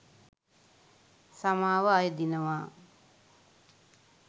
සමාව අයදිනවා.